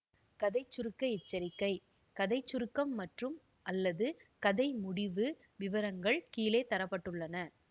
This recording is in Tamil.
கதை சுருக்க எச்சரிக்கை கதை சுருக்கம் மற்றும்அல்லது கதை முடிவு விவரங்கள் கீழே தர பட்டுள்ளன